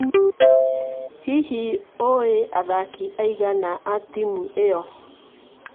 Hihi ũĩ athaki aigana a timu ĩyo?